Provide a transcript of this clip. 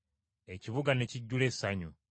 ekibuga ne kijjula essanyu.